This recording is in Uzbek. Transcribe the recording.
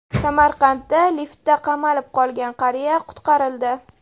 Samarqandda liftda qamalib qolgan qariya qutqarildi.